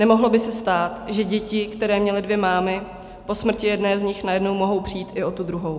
Nemohlo by se stát, že děti, které měly dvě mámy, po smrti jedné z nich najednou mohou přijít i o tu druhou.